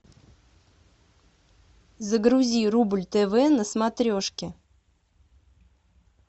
загрузи рубль тв на смотрешке